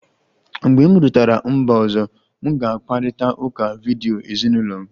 Mgbe m rutere mba ọzọ, m ga-akparịta ụka vidiyo ezinụlọ m